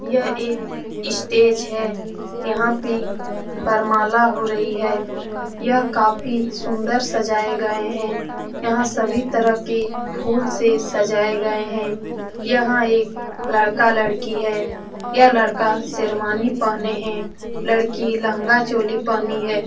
यह एक स्टेज है यहाँ पर वरमाला हो रही है यह काफी सुंदर सजाए गए हैं यहाँ सभी तरह के फूल से सजाए गए हैं यहाँ एक लड़का-लड़की है यह लड़का शेरवानी पहने है लड़की लहंगा-चोली पहनी है।